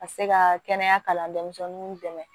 Ka se ka kɛnɛya kalan denmisɛnninw dɛmɛ